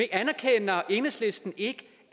anerkender enhedslisten ikke